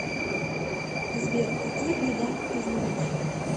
сбер какие гигант ты знаешь